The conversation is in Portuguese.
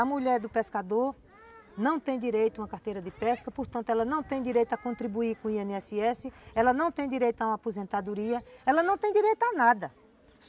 A mulher do pescador não tem direito a uma carteira de pesca, portanto, ela não tem direito a contribuir com o i ene esse esse, ela não tem direito a uma aposentadoria, ela não tem direito a nada.